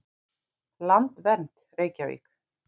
Landvernd, Reykjavík.